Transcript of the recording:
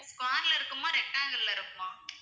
square ல இருக்குமா rectangle அ இருக்குமா?